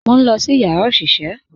Mo n lọ sí yàrá oṣiṣẹ